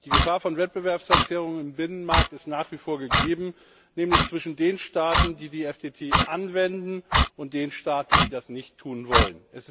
Die Gefahr von Wettbewerbsverzerrungen im Binnenmarkt ist nach wie vor gegeben, nämlich zwischen den Staaten, die die FTT anwenden, und den Staaten, die das nicht tun wollen.